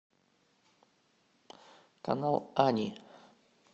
канал ани